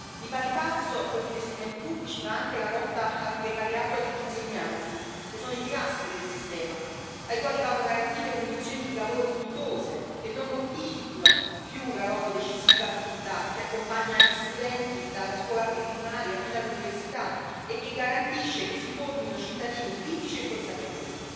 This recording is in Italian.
Di pari passo con gli investimenti pubblici va anche la lotta al precariato degli insegnanti, che sono i pilastri del sistema, ai quali vanno garantite condizioni di lavoro dignitose che non mortifichino più la loro decisiva attività che accompagna gli studenti dalla scuola preprimaria fino all'università e che garantisce che si formino cittadini critici e consapevoli.